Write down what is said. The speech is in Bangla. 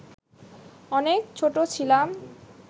অনেক ছোট ছিলাম